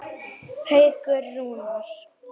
Haukur Rúnar.